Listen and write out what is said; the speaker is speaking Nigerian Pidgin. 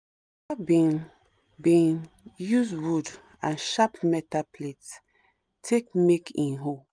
my papa been been use wood and shap metal plate take make him hoe